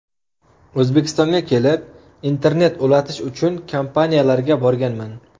O‘zbekistonga kelib, internet ulatish uchun kompaniyalarga borganman.